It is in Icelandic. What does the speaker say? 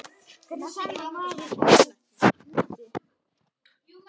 Hvernig sannar maður þessa hluti?